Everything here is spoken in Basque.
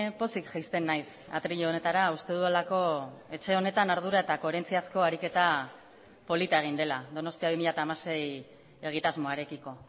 pozik jaisten naiz atril honetara uste dudalako etxe honetan ardura eta koherentziazko ariketa polita egin dela donostia bi mila hamasei egitasmoarekiko